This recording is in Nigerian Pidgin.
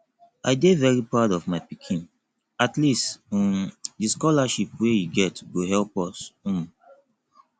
i dey very proud of my pikin at least um the scholarship wey he get go help us um